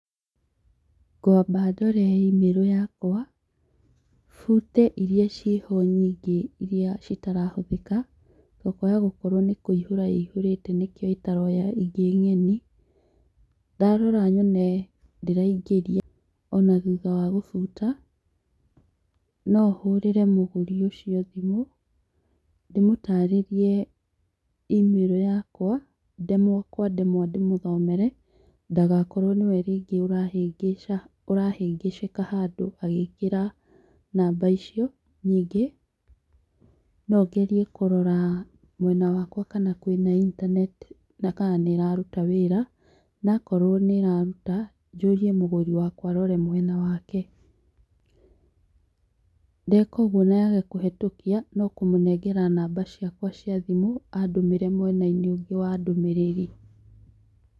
Ngwamba ndore imĩrũ yakwa, bute irĩa ciho nyingĩ, irĩa citarahũthĩka, to kwaya gũkorwo nĩ kũihũra ĩihũrĩte nĩkĩo ĩtaroya ingĩ ng'eni. Ndarora nyone ndĩraingĩria o na thutha wa gũbuta, no hũrĩre mũgũri ũcio thimũ, ndĩmũtarĩrie imĩrũ yakwa, ndemwa kwa ndemwa ndĩmũthomere ndagakorwo nĩwe rĩngĩ ũrahĩngĩca ũrahĩngĩcĩka handũ agĩkĩra namba icio, ningĩ no ngerie kũrora mwena wakwa kana kwĩ na intaneti na kana nĩĩraruta wĩra na akorwo nĩĩraruta njũrie mũgũri wakwa arore mwena wake, ndeka ũguo na yage kũhetũkia no kũmũnengera namba ciakwa cia thimũ, andũmĩre mwena-inĩ ũngĩ wa ndũmĩrĩri.